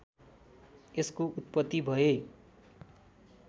यसको उत्पत्ति भए